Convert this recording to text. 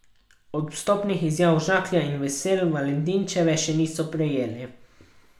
Odstopnih izjav Žaklja in Vesel Valentinčičeve še niso prejeli.